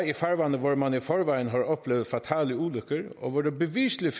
i farvande hvor man i forvejen har oplevet fatale ulykker og hvor der beviseligt